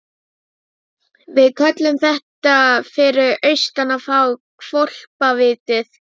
Nálgaðist okkur á tággrönnum fótleggjum sínum með dúandi göngulagi.